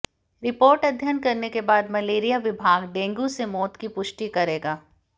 report अध्ययन करने के बाद मलेरिया विभाग डेंगू से मौत की पुष्टि करेगा